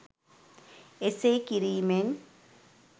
එසේ කිරීමෙන්?